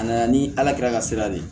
A nana ni ala kɛra ka sira de